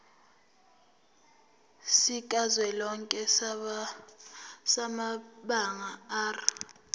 sikazwelonke samabanga r